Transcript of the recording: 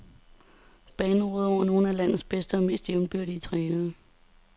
Banen råder over nogle af landets bedste og mest jævnbyrdige trænere.